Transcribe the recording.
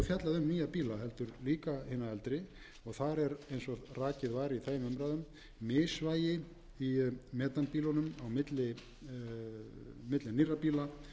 bíla heldur líka hina eldri þar er eins og rakið var í þeim umræðum misvægi í metanbílunum á milli nýrra bíla